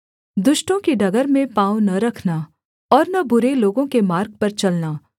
दुष्टों की डगर में पाँव न रखना और न बुरे लोगों के मार्ग पर चलना